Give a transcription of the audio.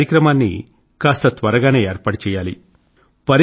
ఈ కార్యక్రమాన్ని కాస్త త్వరగానే ఏర్పాటు చేయాలి